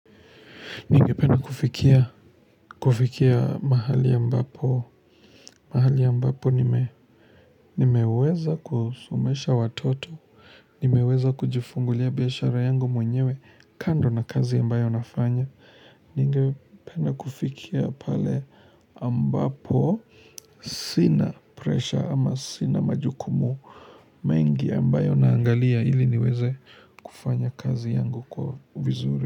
Ningependa kufikia, kufikia mahali ambapo, mahali ambapo nimeweza kusomesha watoto, nimeweza kujifungulia biashara yangu mwenyewe kando na kazi ambayo nafanya. Ningependa kufikia pale ambapo sina presha ama sina majukumu mengi ambayo naangalia ili niweze kufanya kazi yangu kwa vizuri.